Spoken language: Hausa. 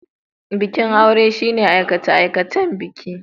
Bikin aure shine aikacen bikin aure.